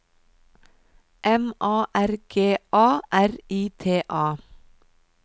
M A R G A R I T A